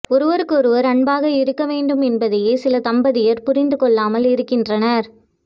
ஒருவருக்கொருவர் அன்பாக இரு க்கவேண்டும் என்பதையே சில தம்பதியர் புரிந்து கொள்ளாமல் இருக்கின்றனர்